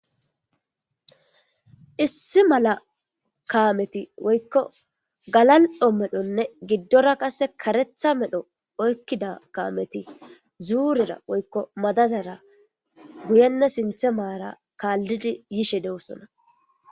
issi mala kaameti woykko galal'o medhonne giddora qasse karetha medho oykkida kaameti zuurera woykko madadara guyenne sinthe maara kaaldidi yishe de'osona